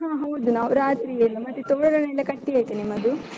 ಹಾ ಹೌದು ನಾವು ರಾತ್ರಿಯೇ ಎಲ್ಲಾ, ಮತ್ತೆ ತೋರಣಯೆಲ್ಲ ಕಟ್ಟಿ ಆಯ್ತಾ ನಿಮ್ಮದು?